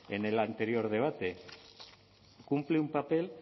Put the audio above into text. en el anterior debate cumple un papel